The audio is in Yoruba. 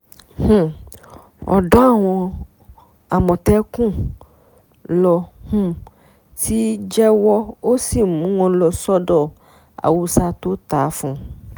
um ọ̀dọ̀ àwọn àmọ̀tẹ́kùn ló um ti jẹ́wọ́ ó sì mú wọn lọ sọ́dọ̀ haúsá tó ta á fún